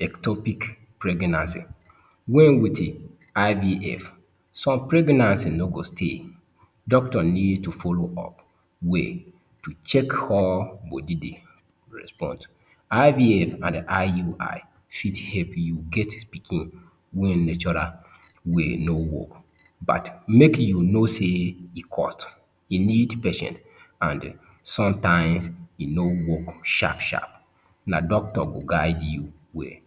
ectopic pregnancy: with IVF, some pregnancy no go stay. Doctor need to follow up well to check how body dey respond. IVF and IUI fit help you get pikin wen natural way no work, but make you know sey e cost, e need patient, an sometimes e no work sharp-sharp. Na doctor go guide you well.